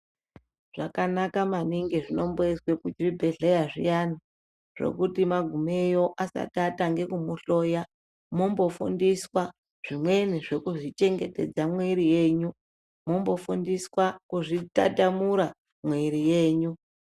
Zvakanaka maningi zvinomboizwa kuzvibhedhleya zviyana zvekuti magumeyo asati atange kumuhloya mombofundiswa zvimweni zvekuzvi chengetedza mwiri yenyu mombofundiswa kuzvitatamura mwiri yenyu.